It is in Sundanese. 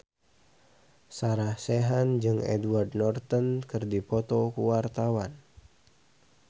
Sarah Sechan jeung Edward Norton keur dipoto ku wartawan